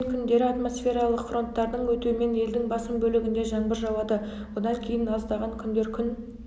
мен күндері атмосфералық фронттардың өтуімен елдің басым бөлігінде жаңбыр жауады одан кейін аздған күндері күн